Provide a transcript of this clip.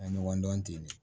An ye ɲɔgɔn dɔn ten de